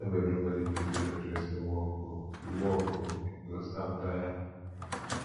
no be everybodi fit do hairdressing work o you work o you go stand tire